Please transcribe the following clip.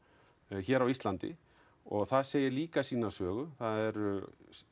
hér á Ísland og það segir líka sína sögu það eru